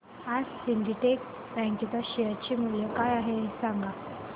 आज Syndicate Bank च्या share चे मूल्य काय आहे हे सांगा